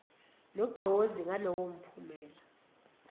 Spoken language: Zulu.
nogqozi ngalowo mphumela